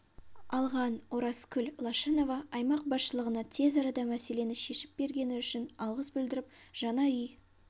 алған оразкүл лашынова аймақ басшылығына тез арада мәселені шешіп бергені үшін алғыс білдіріп жаңа үй